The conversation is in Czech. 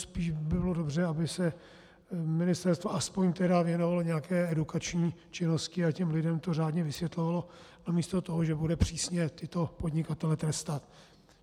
Spíš by bylo dobře, aby se ministerstvo aspoň tedy věnovalo nějaké edukační činnosti a těm lidem to řádně vysvětlovalo namísto toho, že bude přísně tyto podnikatele trestat.